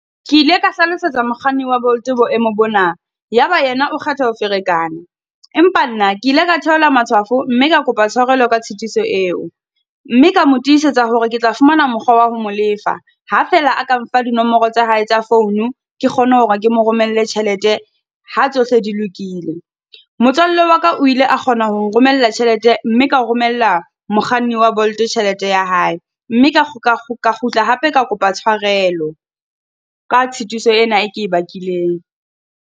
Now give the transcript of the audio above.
Ke ile ka hlalosetsa mokganni wa Bolt boemo bona, ya ba yena o kgetha ho ferekana. Empa nna ke ile ka theola matshwafo mme ka kopa tshwarelo ka tshitiso eo. Mme ka mo tisetsa hore ke tla fumana mokgwa wa ho mo lefa, ha fela a ka mpha dinomoro tsa hae tsa phone, ke kgone hore ke mo romelle tjhelete ha tsohle di lokile. Motswalle wa ka o ile a kgona ho nromella tjhelete mme ka o romella mokganni wa Bolt tjhelete ya hae. Mme ka kgutla hape ka kopa tshwarelo, ka tshitiso ena e ke e bakileng.